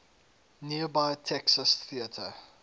nearby texas theater